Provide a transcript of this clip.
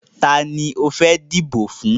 Tani o fẹ́ dìbò fún?